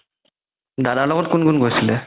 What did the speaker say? দাদাৰ লগত কোন কোন গৈছে